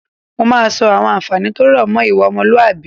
Mo máa sọ àwọn àǹfààní tó rọ̀ mọ́ ìwà ọmọlúwàbí